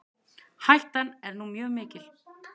Hættan er nú mjög mikil.